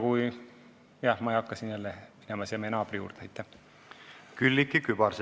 Külliki Kübarsepp, palun!